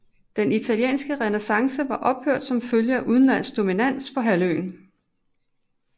Den italienske renæssance var ophørt som følge af udenlandsk dominans på halvøen